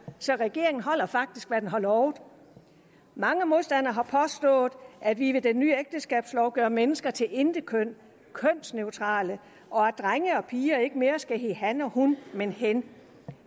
så regeringen holder faktisk hvad den har lovet mange modstandere har påstået at vi med den nye ægteskabslov gør mennesker til intetkøn kønsneutrale og at drenge og piger ikke mere skal hedde han og hun men hen